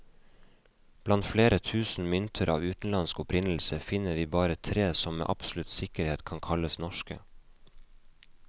Blant flere tusen mynter av utenlandsk opprinnelse, finner vi bare tre som med absolutt sikkerhet kan kalles norske.